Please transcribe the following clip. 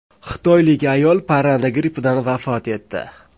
Xitoylik ayol parranda grippidan vafot etdi.